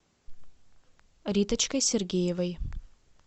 риточкой сергеевой